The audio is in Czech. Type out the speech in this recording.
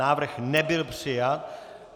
Návrh nebyl přijat.